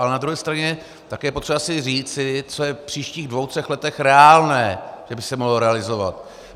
Ale na druhé straně je také potřeba si říci, co je v příštích dvou třech letech reálné, že by se mohlo realizovat.